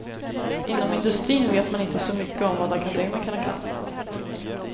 Inom industrin vet man inte så mycket om vad akademikerna kan.